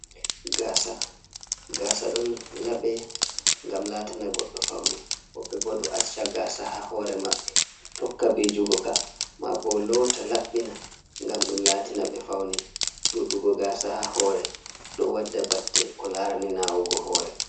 Gasa, gasa don labe gam latana goɗdo faune wobe bo do acca gasa ha hore mabbe tokka bijugo ka ma bo lota labbina gam dum latina be faune duɗugo gasa ha hore do wadda batte ko larani nawugo hore.